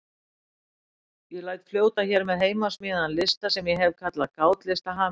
Ég læt fljóta hér með heimasmíðaðan lista sem ég hef kallað Gátlista hamingjunnar.